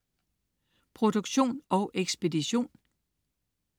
Produktion og ekspedition: